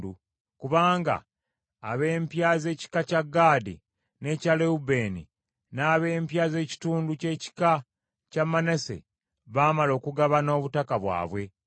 kubanga ab’empya z’ekika kya Gaadi n’ekya Lewubeeni, n’ab’empya z’ekitundu ky’ekika kya Manase, baamala okugabana obutaka bwabwe.